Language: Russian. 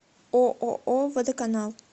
ооо водоканал